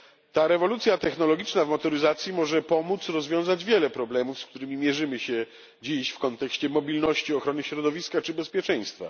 Ta rewolucja technologiczna w motoryzacji może pomóc rozwiązać wiele problemów, z którymi mierzymy się dziś w kontekście mobilności, ochrony środowiska czy bezpieczeństwa.